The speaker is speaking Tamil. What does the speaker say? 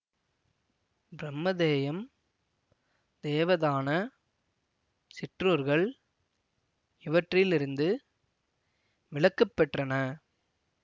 பிரம்மதேயம் தேவதான சிற்றூர்கள் இவற்றிலிருந்து விலக்கு பெற்றன